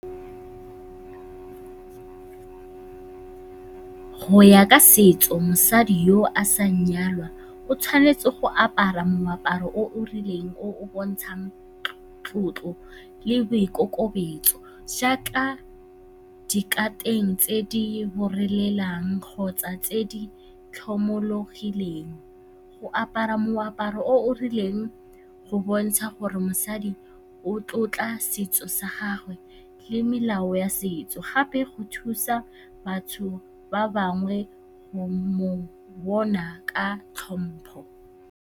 Go ya ka setso, mosadi yo a sa nyalwang o tshwanetse go apara moaparo o o rileng o o bontshang tlotlo le boikokobetso jaaka dikateng tse di kgotsa tse di tlhomologileng. Go apara moaparo o o rileng go bontsha gore mosadi o tlotla setso sa gagwe le melao ya setso, gape go thusa batho ba bangwe go mo bona ka tlhompho.